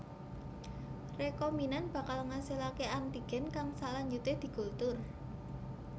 Rekombinan bakal ngasilaké antigen kang salanjuté dikultur